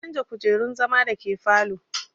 Na canja kujerun zama da ke falow